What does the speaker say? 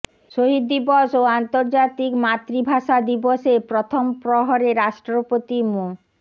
শহীদ দিবস ও আন্তর্জাতিক মাতৃভাষা দিবসের প্রথম প্রহরে রাষ্ট্রপতি মো